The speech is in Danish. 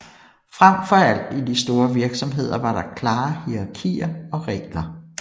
Frem for alt i de store virksomheder var der klare hierarkier og regler